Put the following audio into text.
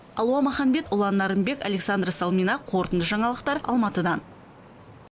алуа махамбет ұлан нарынбек александра салмина қорытынды жаңалықтар алматыдан